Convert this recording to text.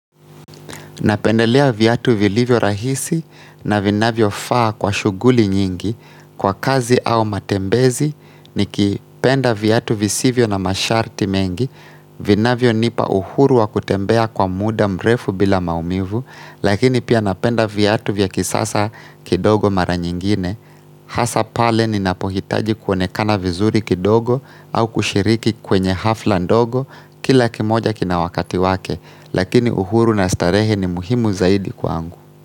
Napendelea viatu vilivyo rahisi na vinavyofaa kwa shughuli nyingi kwa kazi au matembezi nikipenda viatu visivyo na masharti mengi, vinavyonipa uhuru wa kutembea kwa muda mrefu bila maumivu, lakini pia napenda viatu vya kisasa kidogo mara nyingine. Hasa pale ninapohitaji kuonekana vizuri kidogo au kushiriki kwenye hafla ndogo kila kimoja kina wakati wake Lakini uhuru na starehe ni muhimu zaidi kwa angu.